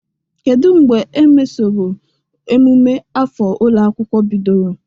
Kedu mbe emesoro emume afọ ụlọ akwụkwọ bidoro?